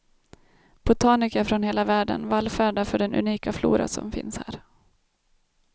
Botaniker från hela världen vallfärdar för den unika flora som finns här.